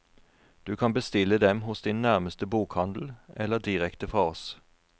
Du kan bestille dem hos din nærmeste bokhandel, eller direkte fra oss.